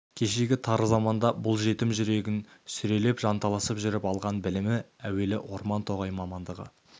кешегі тар заманда бұл жетім жүрегін сүрелеп жанталасып жүріп алған білімі әуелі орман-тоғай мамандығы